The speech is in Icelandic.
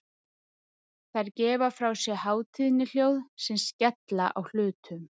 Þær gefa frá sér hátíðnihljóð sem skella á hlutum.